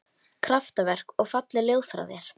Kraftaverk og falleg ljóð frá þér